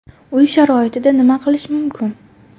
Uy sharoitida nima qilish mumkin?